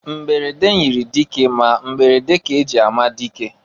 Mberede nyiri dike ma mberede ka e ji ama dike.